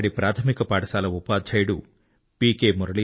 అక్కడి ప్రాథమిక పాఠశాల ఉపాధ్యాయుడు పి